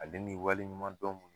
Ale ni waleɲuman dɔn.